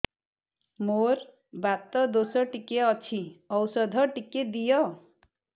ମୋର୍ ବାତ ଦୋଷ ଟିକେ ଅଛି ଔଷଧ ଟିକେ ଦିଅ